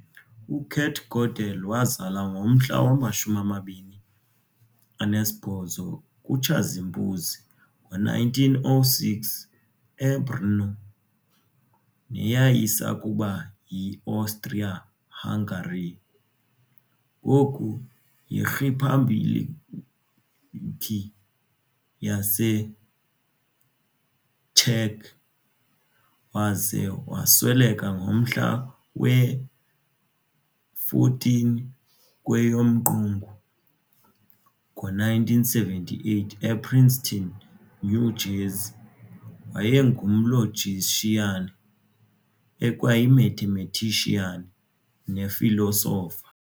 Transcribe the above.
UKurt Godel wazalwa ngomhla mwama-28 kuTshazimpuzi ngo1906 eBruno, neyayisakuba yiAustria-Hungary, ngoku yirhiphabhlikhi yaseCzech waza wasweleka ngomhla we-14 kweyomQungu ngo1978 ePrinceton, New Jersey, wayengumlogician, ekwayi-mathematician, nefilosofa.